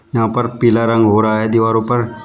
यहां पर पीला रंग हो रहा है दीवारों पर।